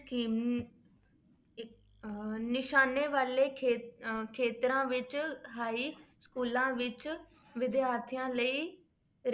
scheme ਇੱਕ ਅਹ ਨਿਸ਼ਾਨੇ ਵਾਲੇ ਖੇ~ ਅਹ ਖੇਤਰਾਂ ਵਿੱਚ ਹਾਈ schools ਵਿੱਚ ਵਿਦਿਆਰਥੀਆਂ ਲਈ